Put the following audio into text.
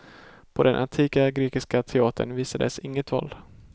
På den antika grekiska teatern visades inget våld.